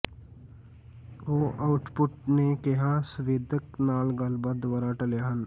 ਉਹ ਆਉਟਪੁੱਟ ਨੇ ਕਿਹਾ ਸੰਵੇਦਕ ਨਾਲ ਗੱਲਬਾਤ ਦੁਆਰਾ ਟਲਿਆ ਹਨ